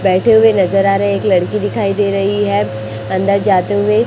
बैठे हुए नजर आ रहे हैं एक लड़की दिखाई दे रही है अंदर जाते हुए।